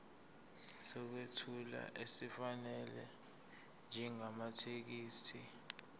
sokwethula esifanele njengamathekisthi